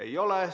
Ei ole.